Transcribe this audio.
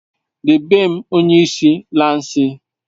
Dedem bu onye lansi